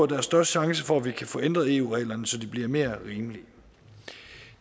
der er størst chance for at vi kan få ændret eu reglerne så de bliver mere rimelige